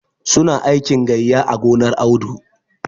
Su na aikin gayya a gonar Audu.